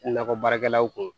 Nakɔ baarakɛlaw kun